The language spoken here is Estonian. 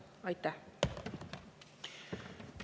Aitäh!